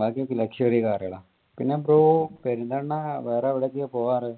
ബാക്കി ഒക്കെ luxury car കൾ ആണ്. പിന്നെ bro പെരുന്തൽമണ്ണ വേറെ എവിടെക്കയ പോകാറ്.